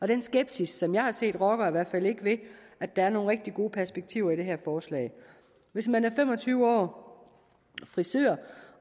den skepsis som jeg har set rokker i hvert fald ikke ved at der er nogle rigtig gode perspektiver i det her forslag hvis man er fem og tyve år frisør